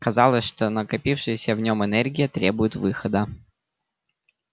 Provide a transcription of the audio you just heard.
казалось что накопившаяся в нём энергия требует выхода